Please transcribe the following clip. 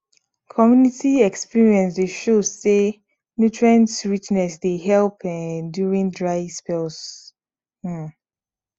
community experience dey show say nutrient richness dey help um during dry spells um